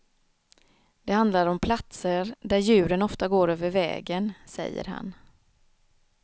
Det handlar om platser, där djuren ofta går över vägen, säger han.